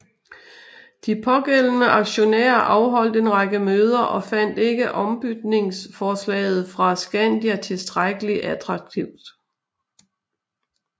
De pågældende aktionærer afholdt en række møder og fandt ikke ombytningsforslaget fra Skandia tilstrækkelig attraktivt